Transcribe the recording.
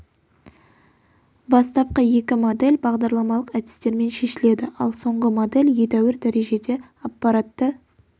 бастапқы екі модель бағдарламалық әдістермен шешіледі ал соңғы модель едәуір дәрежеде аппаратты